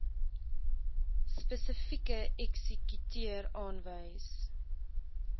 spesifieke eksekuteur aanwys